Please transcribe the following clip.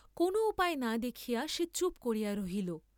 কোন উপায় না দেখিয়া সে চুপ করিয়া রহিল।